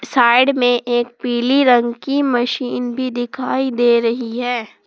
Side में एक पीले रंग की मशीन भी दिखाई दे रही है।